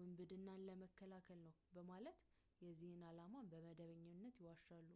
ውንብድናን ለመከላከል ነው በማለት የዚህን ዓላማ በመደበኛነት ይዋሻሉ